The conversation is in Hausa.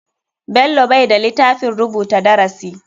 Bello bai da litafin rubuta darasi.